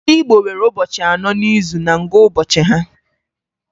Ndị Igbo nwere ụbọchị anọ n'izu na ngụụbọchị ha.